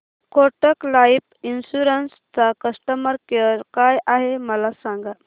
Kotak life insurance चा customer care काय आहे मला सांगा